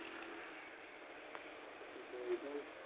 ਤੂੰ ਦਵਾਈ ਲੈਣੀ